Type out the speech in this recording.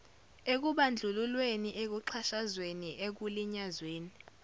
ekubandlululweni ekuxhashazweni ekulinyazweni